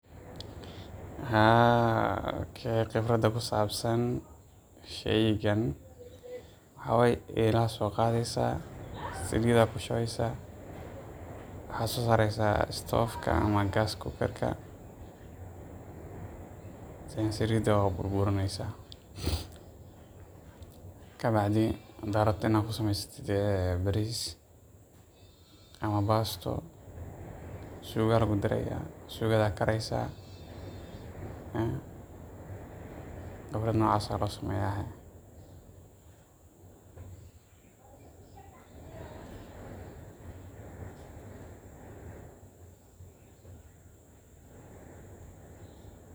Haa khibrad ku sabsan sheygan waxa waye eela ayaa soo qadeysa, saliid ayaa ku shubeysa, stoof ayaa ku shideysa, saliid ayaad ku burineysa, kabacdi hadaad rabtid inaad ku sameysid bariis ama baasto suuga ayaad ku dareysa, noocas ayaa loo sameeya.